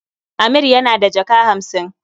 Amir yana da jaka hamsin.